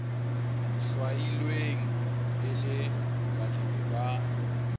hlwailweng e le balemi ba